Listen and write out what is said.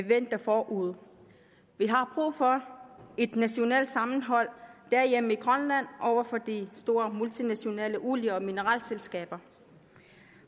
venter forude vi har brug for et nationalt sammenhold derhjemme i grønland over for de store multinationale olie og mineralselskaber